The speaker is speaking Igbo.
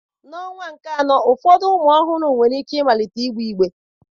N'ọnwa nke anọ, ụfọdụ ụmụ ọhụrụ nwere ike ịmalite ịgbe igbe.